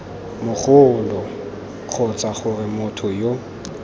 mogoloo kgotsa gore motho yo